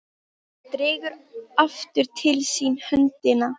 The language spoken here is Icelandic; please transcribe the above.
Hann dregur aftur til sín höndina.